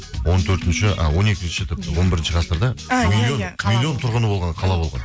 он төртінші а он екінші он бірінші ғасырда миллион тұрғыны болған қала болған